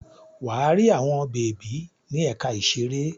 Wà á rí àwọn bèbí ní ẹ̀ka ìṣeré.